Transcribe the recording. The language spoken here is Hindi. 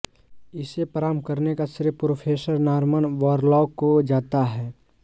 इसे प्रारम्भ करने का श्रेय प्रोफेसर नारमन बोरलॉग को जाता हैं